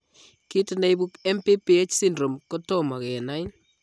Kiit neibu MPPH syndrome kotomo kenai